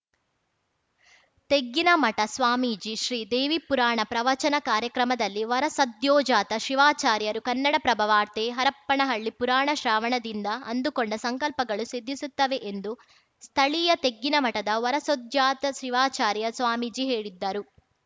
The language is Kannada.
ತೆಗ್ಗಿನಮಠ ಸ್ವಾಮೀಜಿ ಶ್ರೀದೇವಿ ಪುರಾಣ ಪ್ರವಚನ ಕಾರ್ಯಕ್ರಮದಲ್ಲಿ ವರಸದ್ಯೋಜಾತ ಶಿವಾಚಾರ್ಯರು ಕನ್ನಡಪ್ರಭ ವಾರ್ತೆ ಹರಪ್ಪನಹಳ್ಳಿ ಪುರಾಣ ಶ್ರವಣದಿಂದ ಅಂದುಕೊಂಡ ಸಂಕಲ್ಪಗಳು ಸಿದ್ಧಿಸುತ್ತವೆ ಎಂದು ಸ್ಥಳೀಯ ತೆಗ್ಗಿನಮಠದ ವರಸದ್ಯೋಜಾತ ಶಿವಾಚಾರ್ಯ ಸ್ವಾಮೀಜಿ ಹೇಳಿದ್ದರು